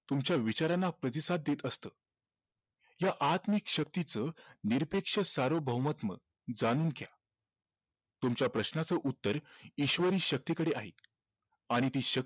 तुमच्या विचारांना प्रतिसाद देत असत या आत्मिक शक्तीच निरपेक्ष जाणून घ्या तुमच्या प्रश्नाचं उत्तर ईश्वरी शक्तीकडे आहे आणि ती